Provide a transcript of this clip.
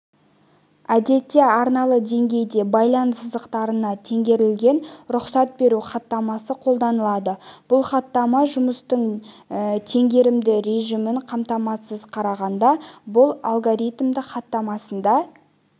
әдетте арналы деңгейде байланыс сызықтарына теңгерілген рұқсат беру хаттамасы қолданылады бұл хаттама жұмыстың теңгерімді режимін қамтамасыз қарағанда бұл алгоритмді хаттамасында